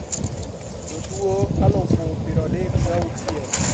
Jotuo aluf pier adek gauchiel